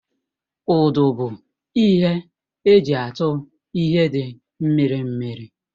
Ụdụ bụ ihe eji atu ihe dị mmiri mmiri